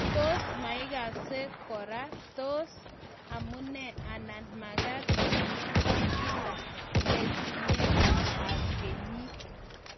tos maigase kora, toa amune anan magat inyo kaa kila letuunet ab kenyit